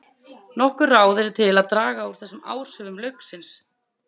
Nokkur ráð eru til að draga úr þessum áhrifum lauksins.